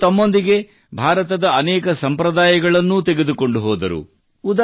ಅವರು ತಮ್ಮೊಂದಿಗೆ ಭಾರತದ ಅನೇಕ ಸಂಪ್ರದಾಯಗಳನ್ನು ತೆಗೆದುಕೊಂಡು ಹೋದರು